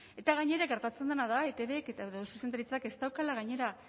eta gainera gertatzen dena da etbk edo zuzendaritzak ez daukala gainera